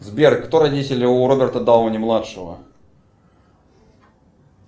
сбер кто родители у роберта дауни младшего